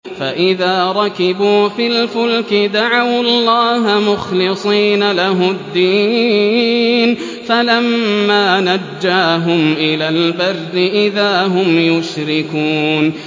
فَإِذَا رَكِبُوا فِي الْفُلْكِ دَعَوُا اللَّهَ مُخْلِصِينَ لَهُ الدِّينَ فَلَمَّا نَجَّاهُمْ إِلَى الْبَرِّ إِذَا هُمْ يُشْرِكُونَ